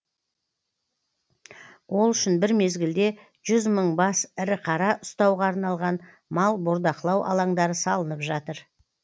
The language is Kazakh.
ол үшін бір мезгілде жүз мың бас ірі қара ұстауға арналған мал бордақылау алаңдары салынып жатыр